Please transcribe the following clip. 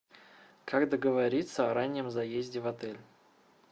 как договориться о раннем заезде в отель